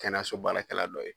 Kɛnɛyaso baarakɛla dɔ ye.